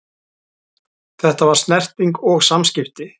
Þetta var snerting og samskipti.